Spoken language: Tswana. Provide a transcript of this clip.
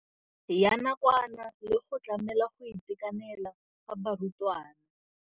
Ya nakwana le go tlamela go itekanela ga barutwana.